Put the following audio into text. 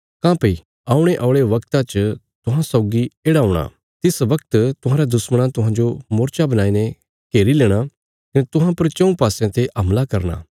काँह्भई औणे औल़े वगता च तुहां सौगी येढ़ा हूणा तिस वगत तुहांरयां दुश्मणां तुहांजो मोर्चा बणाईने घेरी लेणा कने तुहां पर चऊँ पासयां ते हमला करना